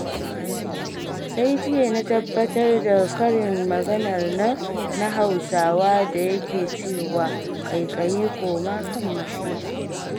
Sai jiya na tabbatar da karin maganar nan na Hausawa da yake cewa, 'ƙaiƙayi koma kan masheƙiya'.